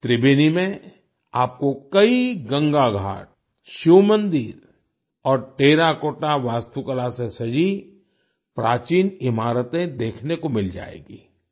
त्रिबेनी में आपको कई गंगा घाट शिव मंदिर और टेराकोटा वास्तुकला से सजी प्राचीन इमारतें देखने को मिल जाएंगी